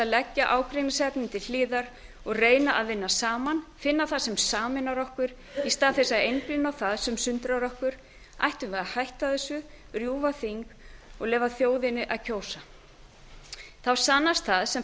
að leggja ágreiningsefnin til hliðar og reyna að vinna saman finna það sem sameinar okkur í stað þess að einblína á það sem sundrar okkur ættum við að hætta þessu rjúfa þing og leyfa þjóðinni að kjósa þá sannast það sem